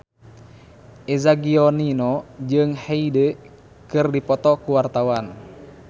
Eza Gionino jeung Hyde keur dipoto ku wartawan